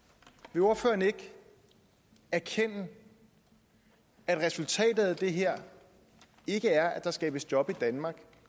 vil ordføreren ikke erkende at resultatet af det her ikke er at der skabes job i danmark